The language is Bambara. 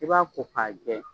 I b'a ko k'a jɛ